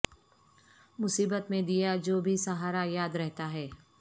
مصیبت میں دیا جو بھی سہارا یاد رہتا ہے